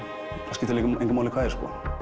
skiptir engu máli hvað er